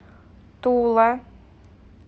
тула